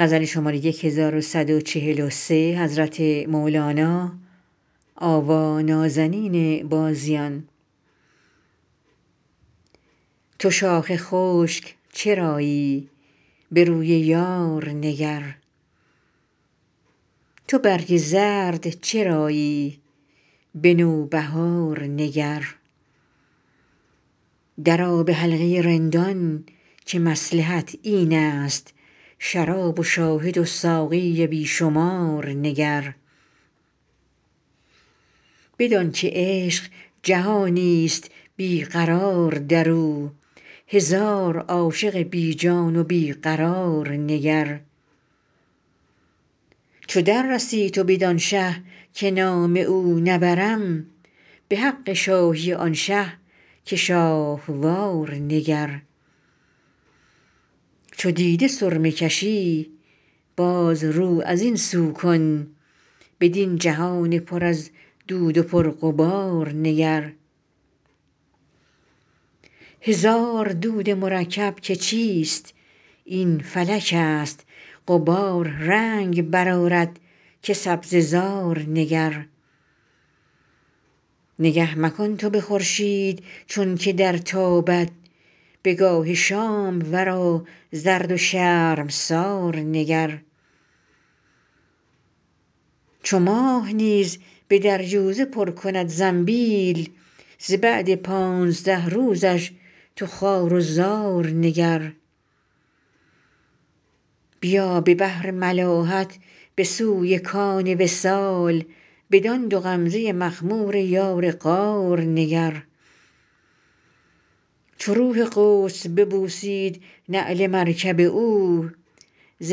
تو شاخ خشک چرایی به روی یار نگر تو برگ زرد چرایی به نوبهار نگر درآ به حلقه رندان که مصلحت اینست شراب و شاهد و ساقی بی شمار نگر بدانک عشق جهانی است بی قرار در او هزار عاشق بی جان و بی قرار نگر چو دررسی تو بدان شه که نام او نبرم به حق شاهی آن شه که شاهوار نگر چو دیده سرمه کشی باز رو از این سو کن بدین جهان پر از دود و پرغبار نگر هزار دود مرکب که چیست این فلکست غبار رنگ برآرد که سبزه زار نگر نگه مکن تو به خورشید چونک درتابد به گاه شام ورا زرد و شرمسار نگر چو ماه نیز به دریوزه پر کند زنبیل ز بعد پانزده روزش تو خوار و زار نگر بیا به بحر ملاحت به سوی کان وصال بدان دو غمزه مخمور یار غار نگر چو روح قدس ببوسید نعل مرکب او ز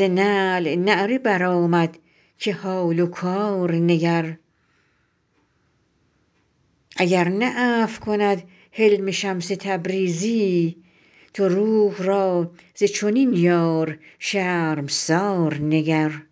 نعل نعره برآمد که حال و کار نگر اگر نه عفو کند حلم شمس تبریزی تو روح را ز چنین یار شرمسار نگر